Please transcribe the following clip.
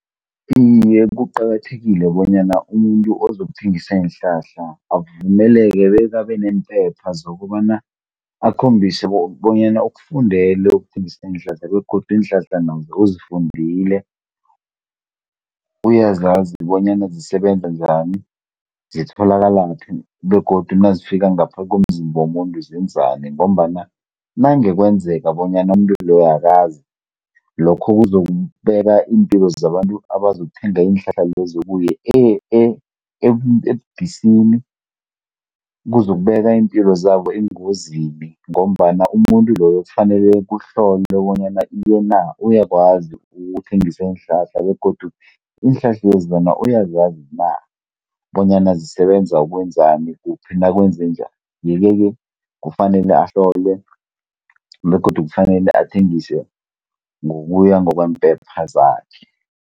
Iye kuqakathekile bonyana umuntu ozokuthengisa iinhlahla avumeleke bekabe neempepha zokobana akhombise bonyana ukufundele ukuthengisa iinhlanhla begodu iinhlahla nazo uzifundile, uyazazi bonyana zisebenza njani, zitholakalaphi begodu nazifika ngapha komzimba womuntu zenzani ngombana nakungenzeka bonyana umuntu loyo akazi lokho kuzokubeka iimpilo zabantu abazokuthenga iinhlahla lezo kuye ebudisini, kuzokubeka iimpilo zabo engozini ngombana umuntu loyo kufanele kuhlolwe bonyana iye na, uyakwazi ukuthengisa iinhlahla begodu iinhlahlezi bona uyazazi na, bonyana zisebenza ukwenzani, kuphi nakwenzenjani. Iye-ke ke kufanele ahlolwe, begodu kufanele athengise ngokuya ngokweempepha zakhe.